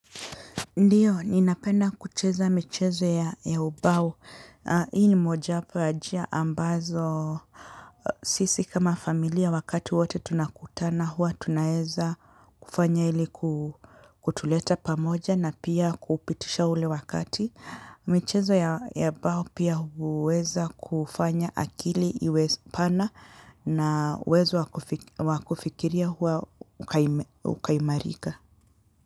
Ndio, ninapenda kucheza michezo ya ubao. Hii ni mojawapo ya njia ambazo sisi kama familia wakati wowote tunakutana huwa tunaeza kufanya ili kutuleta pamoja na pia kupitisha ule wakati. Michezo ya ubao pia huweza kufanya akili iwe pana na uwezo wa kufikiria huwa ukaimarika.